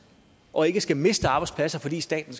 og ikke skal miste arbejdspladser fordi staten